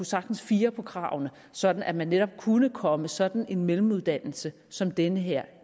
sagtens fire på kravene sådan at man netop kunne komme sådan en mellemuddannelse som den her